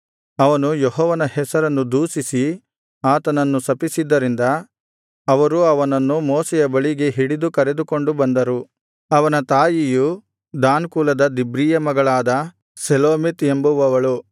ಅವನು ಯೆಹೋವನ ಹೆಸರನ್ನು ದೂಷಿಸಿ ಆತನನ್ನು ಶಪಿಸಿದ್ದರಿಂದ ಅವರು ಅವನನ್ನು ಮೋಶೆಯ ಬಳಿಗೆ ಹಿಡಿದು ಕರೆದುಕೊಂಡು ಬಂದರು ಅವನ ತಾಯಿಯು ದಾನ್ ಕುಲದ ದಿಬ್ರೀಯ ಮಗಳಾದ ಶೆಲೋಮೀತ್ ಎಂಬುವವಳು